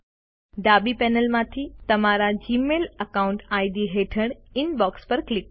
ડાબી પેનલમાંથી તમારા જીમેઇલ એકાઉન્ટ ઇડ હેઠળ ઇનબોક્સ પર ક્લિક કરો